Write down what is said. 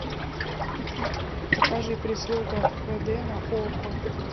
покажи прислуга хд на окко